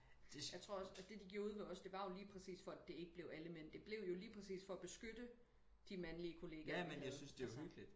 Jeg tror også og det de gjorde ude ved os det var jo lige præcis for at det ikke blev alle mænd det blev jo lige præcis for at beskytte de mandlige kollegaer vi havde altså